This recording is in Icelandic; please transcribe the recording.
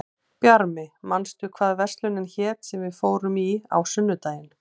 Bjarmi, manstu hvað verslunin hét sem við fórum í á sunnudaginn?